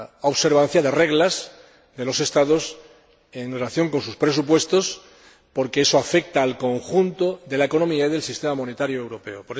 observancia de reglas de los Estados, en relación con sus presupuestos, porque eso afecta al conjunto de la economía y del sistema monetario europeo.